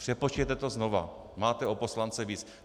Přepočtěte to znova, máte o poslance víc.